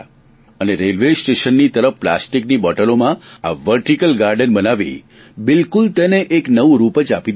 અને રેલવે સ્ટેશનની તરફ પ્લાસ્ટીકની બોટલોમાં આ વર્ટીકલ ગાર્ડન બનાવી બિલકુલ તેને એક નવું જ રૂપ આપી દીધું